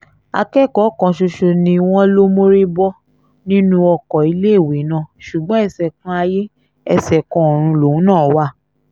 akẹ́kọ̀ọ́ kan ṣoṣo ni wọ́n lọ mórí bọ́ nínú ọkọ̀ iléèwé náà ṣùgbọ́n ẹsẹ-kan-ayé ẹsẹ-kan-ọ̀run lòun náà wà